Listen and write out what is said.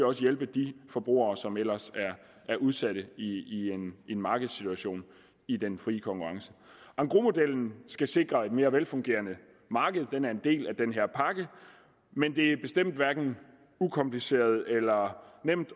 også hjælpe de forbrugere som ellers er udsatte i en markedssituation i den frie konkurrence engrosmodellen skal sikre et mere velfungerende marked den er en del af den her pakke men det er bestemt hverken ukompliceret eller nemt